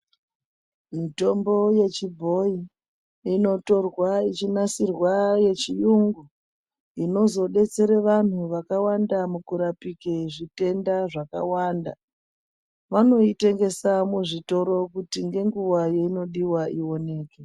Mitombo yechibhoyi, inotorwa yechinasirwa yechiyungu, inozodetsera vanthu mukurapika zvitenda zvakawanda. Vanoitengesa muzvitoro kuti ngenguwa yeinodiwa ioneke.